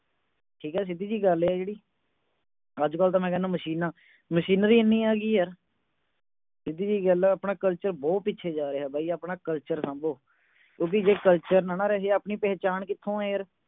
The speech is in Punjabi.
ਠੀਕ ਹੈ ਸਿੱਧੀ ਜਿਹੀ ਗੱਲ ਹੈ ਜਿਹੜੀ ਅੱਜ ਕਲ ਤੇ ਮੈਂ ਕਹਿਨਾਂ machine ਨਾਂ machinery ਏਨੀ ਆ ਗਈ ਹੈ ਯਾਰ ਸਿੱਧੀ ਜਿਹੀ ਗੱਲ ਹੈ ਆਪਣਾ culture ਬਹੁਤ ਪਿੱਛੇ ਨੂੰ ਜਾ ਰਿਹਾ ਹੈ ਬਈ ਆਪਣਾ culture ਸਾਂਭੋ ਕਿਉਂਕਿ ਜੇ culture ਨਾਂ ਨਾ ਰਹੇ ਆਪਣੀ ਪਹਿਚਾਣ ਕਿਥੋਂ ਹੈ ਯਾਰ